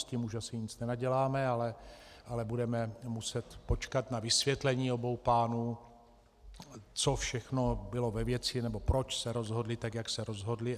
S tím už asi nic nenaděláme, ale budeme muset počkat na vysvětlení obou pánů, co všechno bylo ve věci nebo proč se rozhodli, tak jak se rozhodli.